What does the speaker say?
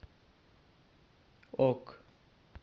ок